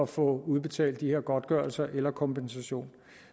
få udbetalt de her godtgørelser eller kompensationer